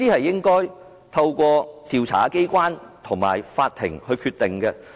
應該透過調查機關及法庭來決定。